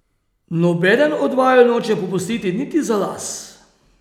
Nobeden od vaju noče popustiti niti za las.